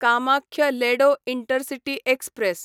Kamakhya Ledo intercity express